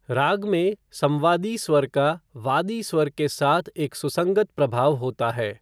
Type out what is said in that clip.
राग में संवादी स्वर का वादी स्वर के साथ एक सुसंगत प्रभाव होता है।